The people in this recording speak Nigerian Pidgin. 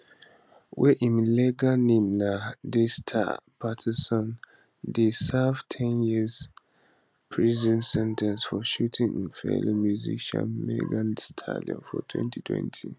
wey im legal name na daystar peterson dey serve a 10year prison sen ten ce for shooting im fellow musician megan thee stallion for 2020